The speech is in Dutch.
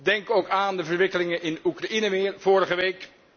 Denk ook aan de verwikkelingen in Oekraïne weer vorige week.